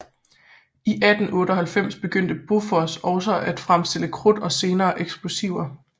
I 1898 begyndte Bofors også at fremstille krudt og senere eksplosiver